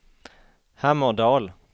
Hammerdal